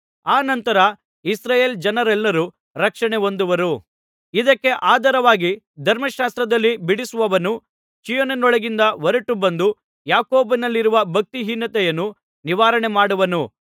ಆ ನಂತರ ಇಸ್ರಾಯೇಲ್ ಜನರೆಲ್ಲರೂ ರಕ್ಷಣೆಹೊಂದುವರು ಇದಕ್ಕೆ ಆಧಾರವಾಗಿ ಧರ್ಮಶಾಸ್ತ್ರದಲ್ಲಿ ಬಿಡಿಸುವವನು ಚೀಯೋನಿನೊಳಗಿಂದ ಹೊರಟು ಬಂದು ಯಾಕೋಬನಲ್ಲಿರುವ ಭಕ್ತಿಹೀನತೆಯನ್ನು ನಿವಾರಣೆಮಾಡುವನು